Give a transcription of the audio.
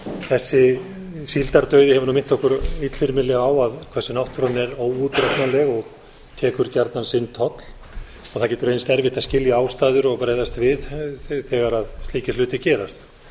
þessi síldardauði hefur minnt okkur illþyrmilega á hversu náttúran er óútreiknanleg og tekur gjarnan sinn toll og það getur reynst erfitt að skilja ástæður og bregðast við þegar slíkir hlutir gerast